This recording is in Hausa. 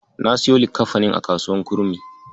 Na siyo likkafanin a kasuwar Kurmi.